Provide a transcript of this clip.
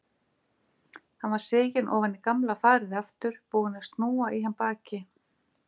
Hann var siginn ofan í gamla farið aftur, búinn að snúa í hann baki.